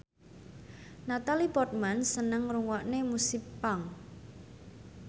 Natalie Portman seneng ngrungokne musik punk